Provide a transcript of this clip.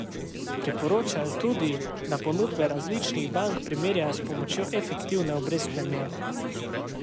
Priporočajo tudi, da ponudbe različnih bank primerjajo s pomočjo efektivne obrestne mere.